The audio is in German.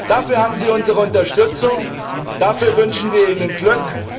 Dafür haben Sie unsere Unterstützung, dafür wünschen wir Ihnen Glück.